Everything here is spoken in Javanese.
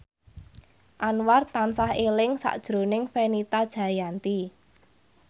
Anwar tansah eling sakjroning Fenita Jayanti